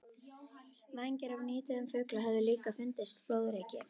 Vængir af nýdauðum fugli höfðu líka fundist flóðreki.